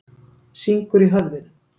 Syngur í höfðinu.